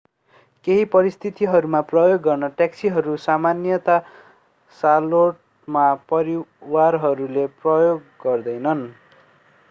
केहि परिस्थितिहरूमा प्रयोग गर्न ट्याक्सीहरू सामान्यतया शार्लोटमा परिवारहरूले प्रयोग गर्दैनन्